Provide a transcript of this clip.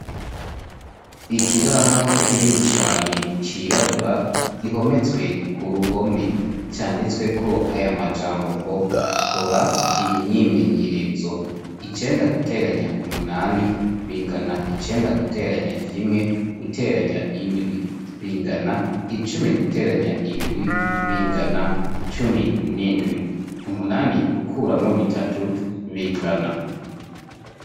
Ikibaho kinini cane cirabura ihometswe ku ruhome canditsweko aya majambo ngo kora iyi myimenyerezo icenda guteranya umunani bingana icenda guteranya kimwe guteranya indwi bingana icumi guteranywa nya indwi bingana cumi n'indwi umunani gukuramwo bitatu bingana.